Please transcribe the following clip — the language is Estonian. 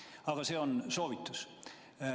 Aga see on soovitus.